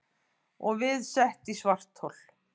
Og við sett í svarthol.